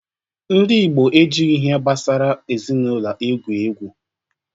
Ndị Ịgbo ejigho ihe gbasara ezinaụlọ egwu egwu